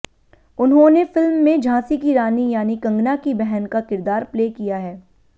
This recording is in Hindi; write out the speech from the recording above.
उन्होंने फिल्म में झांसी की रानी यानी कंगना की बहन का किरदार प्ले किया है